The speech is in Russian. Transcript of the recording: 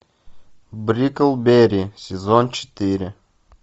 бриклберри сезон четыре